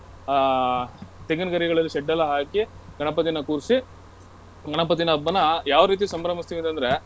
ಅಹ್ ತೆಂಗಿನ್ ಗರಿಗಳಲ್ಲಿ shed ಎಲ್ಲಾ ಹಾಕಿ ಗಣಪತಿನ ಕೂರ್ಸಿ ಗಣಪತಿನ ಹಬ್ಬನ್ನ ಯಾವ ರೀತಿ ಸಂಭ್ರಮಿಸ್ತೀವಿ ಅಂತಂದ್ರೆ.